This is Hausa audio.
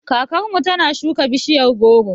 Kakar mu ta na shuka bishiyar goro